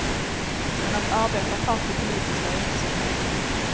Men att arbeta partipolitiskt är inget som hägrar.